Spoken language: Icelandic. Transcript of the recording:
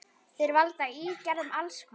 Þeir valda ígerðum alls konar.